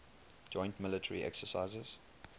joint military exercises